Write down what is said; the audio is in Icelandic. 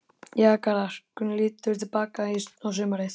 Jæja Garðar, hvernig líturðu til baka á sumarið?